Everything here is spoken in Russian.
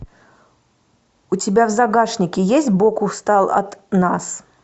у тебя в загашнике есть бог устал от нас